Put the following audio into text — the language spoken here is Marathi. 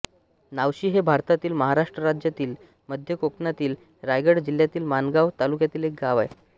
नावशी हे भारतातील महाराष्ट्र राज्यातील मध्य कोकणातील रायगड जिल्ह्यातील माणगाव तालुक्यातील एक गाव आहे